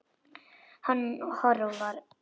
Hann hörfar.